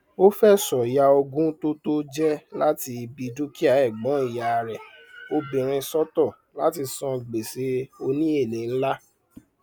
ó fẹsọ ya ogún tó tó jẹ láti ibi dúkìá ẹgbọn ìyá rẹ obìnrin sọtọ látí san gbèsè òní èlé nlá